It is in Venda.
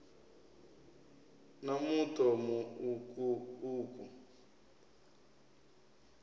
na muṱo mu uku uku